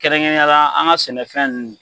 Kɛrɛnkɛrɛn ne ya la an ga sɛnɛfɛn